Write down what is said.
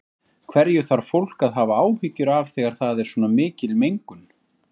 Bíllinn endaði á hvolfi utan vegar